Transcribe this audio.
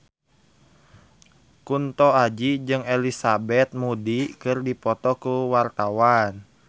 Kunto Aji jeung Elizabeth Moody keur dipoto ku wartawan